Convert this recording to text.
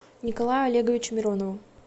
николаю олеговичу миронову